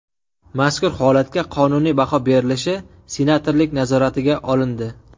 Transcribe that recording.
Mazkur holatga qonuniy baho berilishi senatorlik nazoratiga olindi.